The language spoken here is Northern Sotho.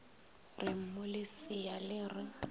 re mmu lesea le re